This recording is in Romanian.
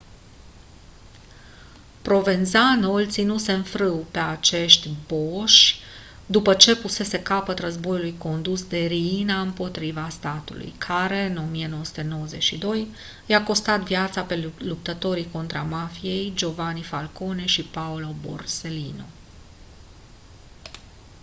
provenzano îi ținuse în frâu pe acești boși după ce pusese capăt războiului condus de riina împotriva statului care în 1992 i-a costat viața pe luptătorii contra mafiei giovanni falcone și paolo borsellino